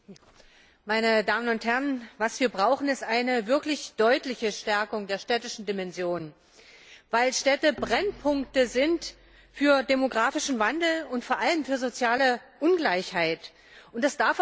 Frau Präsidentin, meine Damen und Herren! Was wir brauchen, ist eine wirklich deutliche Stärkung der städtischen Dimension, weil Städte Brennpunkte für demografischen Wandel und vor allem für soziale Ungleichheit sind.